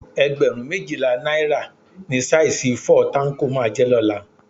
Ẹgbẹ̀rún méjìlá náírà ni saisi fọ́ọ̀ táńkò máa jẹ́ lọ́la